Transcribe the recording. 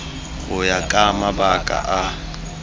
go ya ka mabaka a